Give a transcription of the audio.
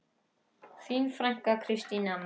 Þín frænka, Kristín Anna.